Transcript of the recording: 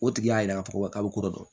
O tigi y'a yira k'a fɔ k'a bɛ ko dɔ dɔn